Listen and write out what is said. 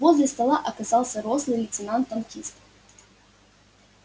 возле стола оказался рослый лейтенант танкист